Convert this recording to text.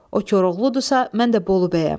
O Koroğludursa, mən də Bolu bəyəm.